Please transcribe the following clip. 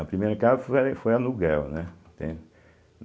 A primeira casa foi aluguel, né?